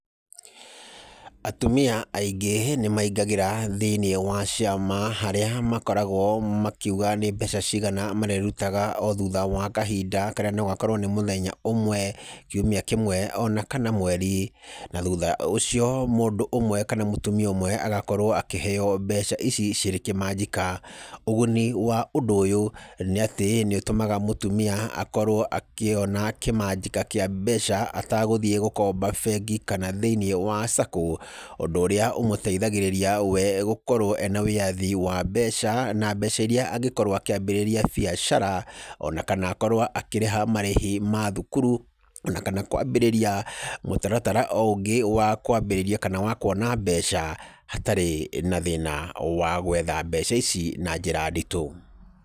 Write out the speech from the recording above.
Atumia aingĩ nimaingagĩra thĩinĩ wa ciama, harĩa makoragwo makiuga nĩ mbeca cigana marĩrutaga o thutha wa kahinda karĩa nogakorwo nĩ mũthenya ũmwe, kiumia kĩmwe ona kana mweri. Na thutha ũcio mũndũ ũmwe kana mũtumia ũmwe agakorwo akĩheo mbeca ici cirĩ kĩmanjĩka. Ũguni wa ũndũ ũyũ nĩ atĩ nĩũtũmaga mũtumia akorwo akĩona kĩmanjĩka kĩa mbeca atagũthiĩ gũkomba bengi kana thĩiniĩ wa Sacco, ũndũ ũrĩa ũmũteithagĩrĩria we gũkorwo ena wĩyathi wa mbeca, na mbeca iria angĩkorwo akĩambĩrĩria biashara, ona kana akorwo akĩrĩha marĩhi ma thukuru, ona kana kwambĩrĩria mũtaratara o ũngĩ wa kwambĩrĩria kana wa kuona mbeca, hatarĩ na thĩna wa gwetha mbeca ici na njĩra nditũ.